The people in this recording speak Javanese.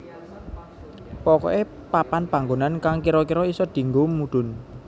Pokoké papan panggonan kang kira kira isa dienggo mudhun